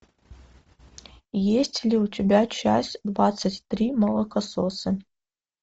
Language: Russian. есть ли у тебя часть двадцать три молокососы